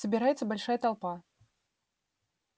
собирается большая толпа